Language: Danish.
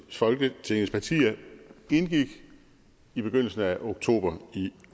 folketingets partier indgik i begyndelsen af oktober i